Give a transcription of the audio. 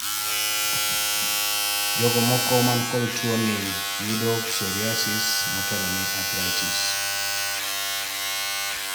jogo moko man kod tuo ni yudo psoriasis motelo ni arthritis